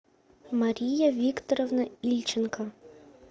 мария викторовна ильченко